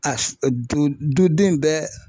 A du duden bɛɛ